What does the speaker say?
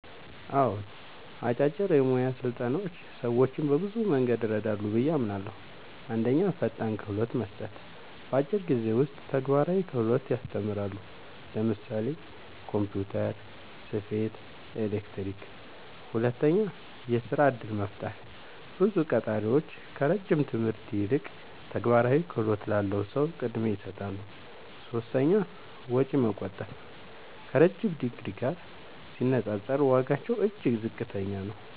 አዎን፣ አጫጭር የሙያ ስልጠናዎች ሰዎችን በብዙ መንገድ ይረዳሉ ብዬ አምናለሁ፦ 1. ፈጣን ክህሎት መስጠት – በአጭር ጊዜ ውስጥ ተግባራዊ ክህሎት ያስተምራሉ (ለምሳሌ ኮምፒውተር፣ ስፌት፣ ኤሌክትሪክ)። 2. የሥራ እድል መፍጠር – ብዙ ቀጣሪዎች ከረጅም ትምህርት ይልቅ ተግባራዊ ክህሎት ላለው ሰው ቅድሚያ ይሰጣሉ። 3. ወጪ መቆጠብ – ከረዥም ዲግሪ ጋር ሲነጻጸር ዋጋቸው እጅግ ዝቅተኛ ነው።